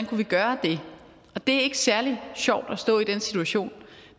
kunne gøre det det er ikke særlig sjovt at stå i den situation